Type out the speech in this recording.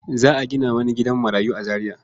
Za a gina wani gidan marayu a Zariya.